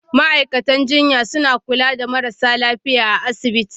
Ma'aikatan jinya suna kula da marasa lafiya a asibiti.